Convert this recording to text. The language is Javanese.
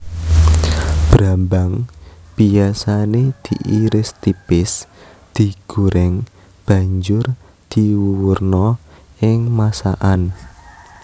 Brambang biyasané diiris tipis digoreng banjur diwuwurna ing masakan